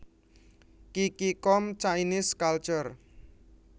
Qiqi com Chinese Cultures